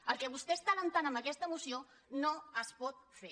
el que vostè està encoratjant amb aquesta moció no es pot fer